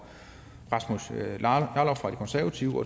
rasmus jarlov fra de konservative